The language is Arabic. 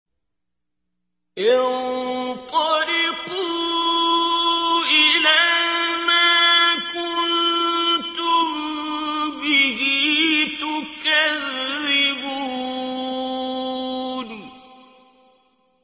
انطَلِقُوا إِلَىٰ مَا كُنتُم بِهِ تُكَذِّبُونَ